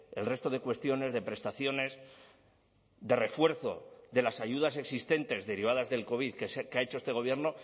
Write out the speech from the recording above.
el resto de cuestiones de prestaciones de refuerzo de las ayudas existentes derivadas del covid que ha hecho este gobierno